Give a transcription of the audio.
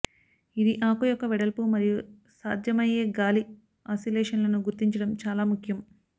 ఇది ఆకు యొక్క వెడల్పు మరియు సాధ్యమయ్యే గాలి ఆసిలేషన్లను గుర్తించడం చాలా ముఖ్యం